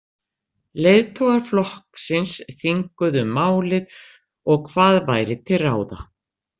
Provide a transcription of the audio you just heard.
Leiðtogar flokksins þinguðu um málið og hvað væri til ráða.